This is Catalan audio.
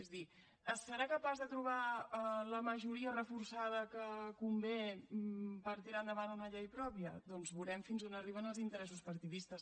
és a dir serà capaç de trobar la majoria reforçada que convé per tirar endavant una llei pròpia doncs veurem fins on arriben els interessos partidistes